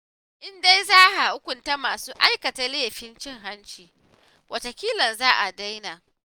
In dai za a hukunta masu aikata laifin cin hanci, wataƙila za a daina